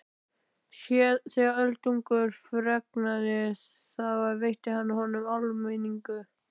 Þegar Öldungurinn fregnaði það veitti hann honum áminningu.